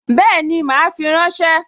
Bẹ́ẹ̀ni, mà á fi ránṣẹ́